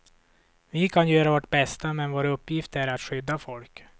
Vi kan göra vårt bästa, men vår uppgift är att skydda folk.